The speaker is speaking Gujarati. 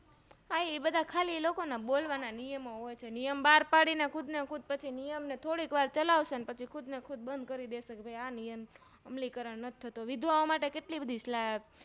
હા એ ખાલી બોલવા ના નિયમો હોય છે બાર પાડીન ખુદને ખુદ પછી નિયમને થોડીક વાર ચલાવશે પછી ખુદને ખુદ બંધ કર દેશે આ નિયમ અમલીકરણનથી થતો વિધવાઓં માટે કેટલી બધી